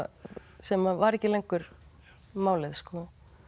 sem var ekki lengur málið sko